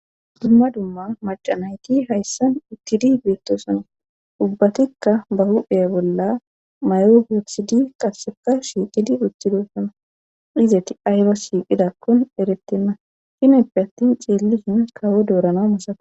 dumma dumma macanayti hayssan uttidi beettoosana ubbatikka ba hu'eya bolla may7o bioksidi qaseka shiiqidi uchidosana izati ayba shiiqidakkon erettenna sineppe attin ceellishin kawo doorana masaka